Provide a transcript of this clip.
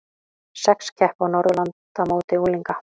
Sex keppa á Norðurlandamóti unglinga